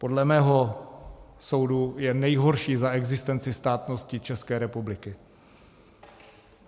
Podle mého soudu je nejhorší za existence státnosti České republiky.